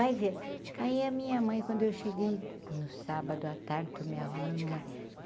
vai ver aí a minha mãe, quando eu cheguei no sábado, a tarde, estou me arrumando mamãe.